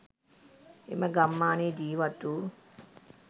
එම ගම්මානයේ ජීවත් වූ